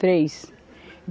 Três.